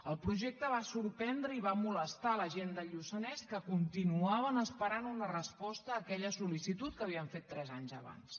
el projecte va sorprendre i va molestar la gent del lluçanès que continuaven esperant una resposta a aquella sol·licitud que havien fet tres anys abans